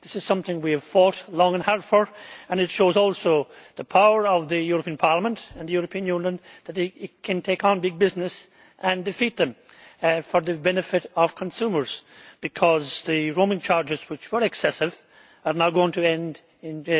This is something we have fought long and hard for, and it shows also the power of the European Parliament and the European Union that it can take on big businesses and defeat them for the benefit of consumers, because the roaming charges, which were excessive, are now going to end in